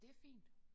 Det fint